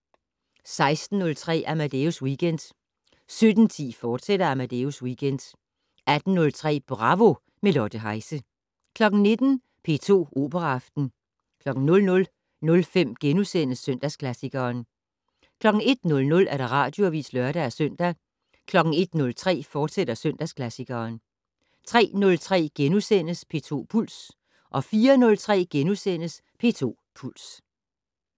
16:03: Amadeus Weekend 17:10: Amadeus Weekend, fortsat 18:03: Bravo - med Lotte Heise 19:00: P2 Operaaften 00:05: Søndagsklassikeren * 01:00: Radioavis (lør-søn) 01:03: Søndagsklassikeren, fortsat 03:03: P2 Puls * 04:03: P2 Puls *